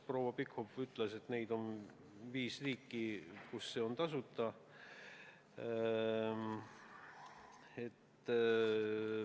Proua Pikhof ütles, et on viis riiki, kus see on tasuta.